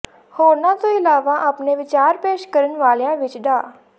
ਹੋਰਨਾਂ ਤੋਂ ਇਲਾਵਾ ਆਪਣੇ ਵਿਚਾਰ ਪੇਸ਼ ਕਰਨ ਵਾਲਿਆਂ ਵਿਚ ਡਾ